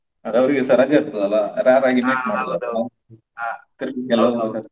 ಅವ್ರಿಗೆಸ ರಜೆ ಇರ್ತದಲ್ಲ ಹಾಗಾಗಿ meet ಮಾಡ್ಬೋದು ಅವ್ರು.